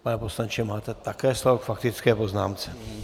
Pane poslanče, máte také slovo k faktické poznámce.